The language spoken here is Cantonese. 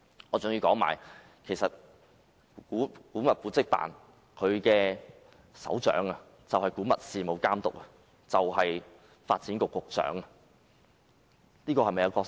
我更要指出，古蹟辦的首長，即古物事務監督，其實就是發展局局長。